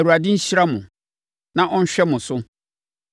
“‘ Awurade nhyira mo na ɔnhwɛ mo so.